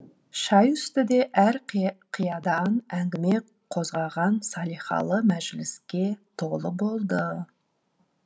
шай үсті де әр қиядан әңгіме қозғаған салихалы мәжіліске толы болды